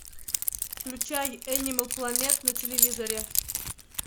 включай энимал планет на телевизоре